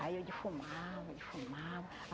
Aí eu defumava, defumava.